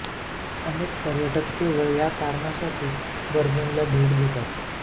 अनेक पर्यटक केवळ या कारणासाठी बर्लिनला भेट देतात